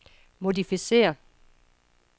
modificér